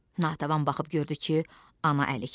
Natəvan baxıb gördü ki, ana əlikdir.